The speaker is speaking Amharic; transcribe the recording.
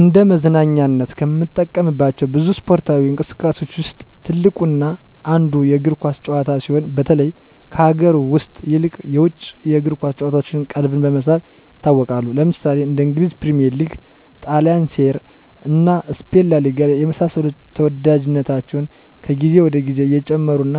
እንደ መዝናኛነት ከምንጠቀምባቸው ብዙ እስፓርታዊ እንቅስቃሴዎች ውስጥ ትልቁ እና አንዱ የእግር ኳስ ጭዋታ ሲሆን በተለይ ከሀገር ውስጥ ይልቅ የውጭ የእግር ኳስ ጭዋታዎች ቀልብን በመሳብ ይታወቃሉ። ለምሳሌ እንደ እንግሊዝ ፕሪሚዬር ሊግ; ጣሊንሴሪያ እና ስፔን ላሊጋ የመሳሰሉት ተዎዳጅነታቸው ከግዜ ወደ ግዜ እየጨመሩ እና